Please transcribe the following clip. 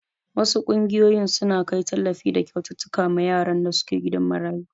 Wasu ƙungiyoyin suna kai tallafi da kyaututtuka ma yaran da suke gidan marayu.